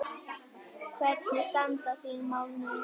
Hvernig standa þín mál núna?